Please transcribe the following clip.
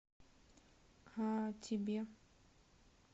а тебе